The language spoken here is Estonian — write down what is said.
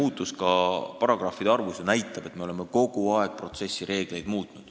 Seesama paragrahvide arvu kasvgi näitab, et me oleme kogu aeg protsessireegleid muutnud.